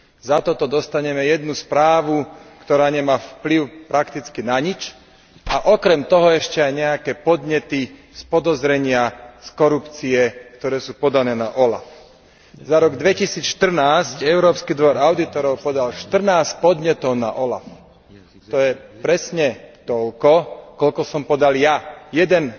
Za toto dostaneme jednu správu, ktorá nemá vplyv prakticky na nič, a okrem toho ešte aj nejaké podnety z podozrenia z korupcie, ktoré sú podané na OLAF. Za rok 2014 Európsky dvor audítorov podal 14 podnetov na OLAF. To je presne toľko, koľko som podal ja jeden